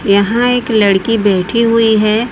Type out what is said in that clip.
यहां एक लड़की बैठी हुई है।